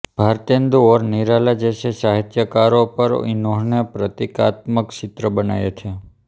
भारतेंदु और निराला जैसे साहित्यकारों पर इन्होंने प्रतीकात्मक चित्र बनाए थे